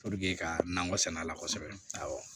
ka nakɔ sɛnɛ la kosɛbɛ awɔ